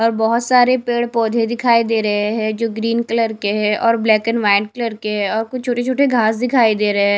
और बहुत सारे पेड़-पौधे दिखाई दे रहे हैं जो ग्रीन कलर के हैं और ब्लैक एंड वाइट कलर के हैं और कुछ छोटे-छोटे घास दिखाई दे रहे है।